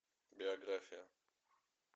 биография